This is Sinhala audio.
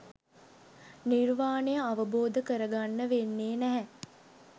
නිර්වාණය අවබෝධ කරගන්න වෙන්නේ නෑ